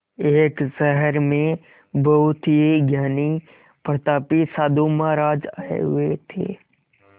एक शहर में बहुत ही ज्ञानी प्रतापी साधु महाराज आये हुए थे